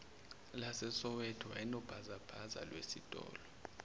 lasesoweto wayenobhazabhaza wesitolo